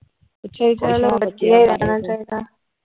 ਅੱਛਾ ਜੀ ਚਲੋ ਵਧੀਆ ਈ ਰਹਿਣਾ ਚਾਹੀਦਾ ।